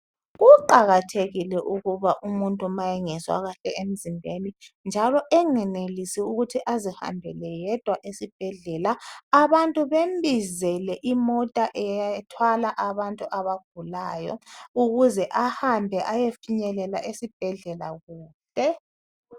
Kuqakathekile ukuba umuntu ma engezwa kahle emzimbeni njalo engenelisi ukuthi azibambele yedwa esibhedlela abantu bembizele imota ethwala abantu abagulayo ukuze ahambe ayefinyelela esibhedlela kuhle.